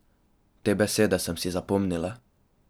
Te besede sem si zapomnila.